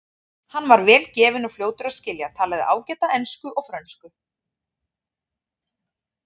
Hann var vel gefinn og fljótur að skilja, talaði ágætlega ensku og frönsku.